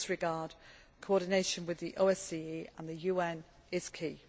In this regard, coordination with the OSCE and the UN is key.